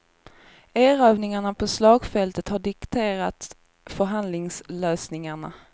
Erövringarna på slagfältet har dikterat förhandlingslösningarna.